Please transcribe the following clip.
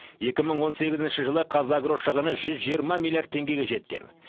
екі мың он сегізінші жылы қазагро шығыны жүз жиырма миллиард теңгеге жеткен